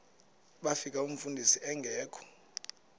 bafika umfundisi engekho